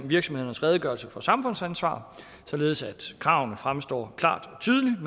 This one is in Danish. virksomhedernes redegørelse for samfundsansvar således at kravene fremstår klart og tydeligt